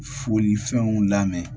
Folifɛnw lamɛn